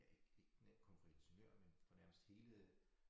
Ja ikke ikke kun fra Helsingør men fra nærmest hele øh